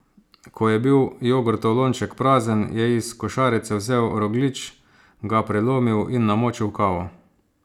Ko je bil jogurtov lonček prazen, je iz košarice vzel rogljič, ga prelomil in namočil v kavo.